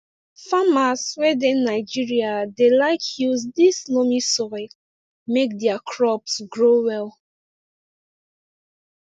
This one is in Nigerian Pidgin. farmers wey dey nigeria dey like use this loamy soil make their crops grow well